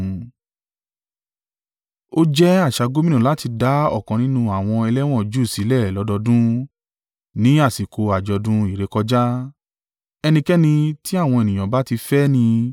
Ó jẹ́ àṣà gómìnà láti dá ọ̀kan nínú àwọn ẹlẹ́wọ̀n Júù sílẹ̀ lọ́dọọdún, ní àsìkò àjọ̀dún ìrékọjá. Ẹnikẹ́ni tí àwọn ènìyàn bá ti fẹ́ ni.